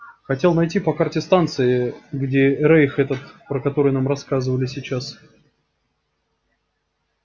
хотел найти по карте станции где рейх этот про который нам рассказывали сейчас